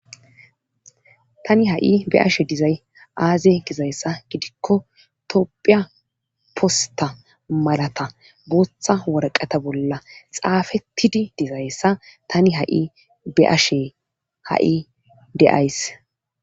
Tani ha'i be ashe dizay aaze gizayssa gidikko tophiya posta malata booththa warqata bolla xaafettidi dizayssa tani ha7i be ashe ha'i deays.